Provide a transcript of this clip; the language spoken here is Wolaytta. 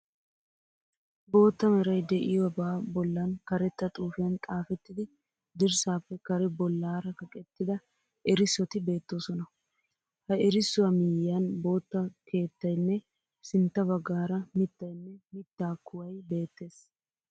Bootta meray de'iyobaa bollan karetta xuufiyan xaafettidi dirssaappe kare bollaara kaqettida erissoti beettoosona. Ha erissuwa miyyiyan bootta keettayinne sintta baggaara mittayinne mittaa kuwayi beettees.